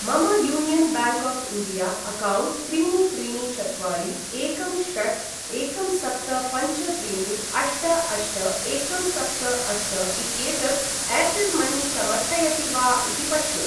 मम union bank of India account त्रीणि त्रीणि चत्वारि एकं षट् एकं सप्त पञ्च त्रीणि अष्ट अष्ट एकं सप्त अष्ट इत्येतत् एर्टेल् मनी समर्थयति वा इति पश्य।